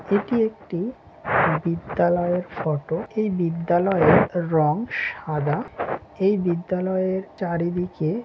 এটি একটি বিদ্যালয়ের ফটো এই বিদ্যালয়ের রং সাদা এই বিদ্যালয়ের চারিদিক--